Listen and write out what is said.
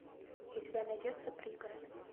у тебя найдется пригород